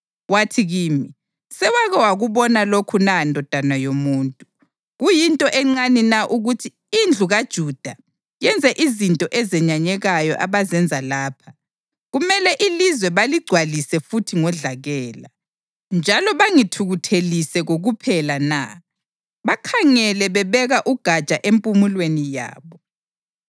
Wathi kimi, “Sewake wakubona lokhu na ndodana yomuntu? Kuyinto encane na ukuthi indlu kaJuda yenze izinto ezenyanyekayo abazenza lapha? Kumele ilizwe baligcwalise futhi ngodlakela, njalo bangithukuthelise kokuphela na? Bakhangele bebeka ugatsha empumulweni yabo!